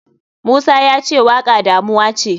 Musa yace waka damuwace.